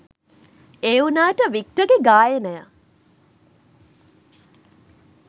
ඒ වුණාට වික්ටර්ගෙ ගායනය